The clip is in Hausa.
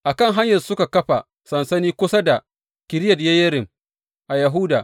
A kan hanyarsu suka kafa sansani kusa da Kiriyat Yeyarim a Yahuda.